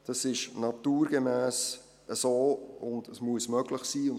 Das ist naturgemäss so, und dies muss möglich sein.